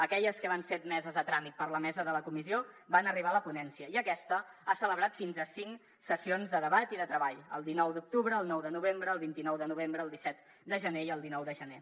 aquelles que van ser admeses a tràmit per la mesa de la comissió van arribar a la ponència i aquesta ha celebrat fins a cinc sessions de debat i de treball el dinou d’octubre el nou de novembre el vint nou de novembre el disset de gener i el dinou de gener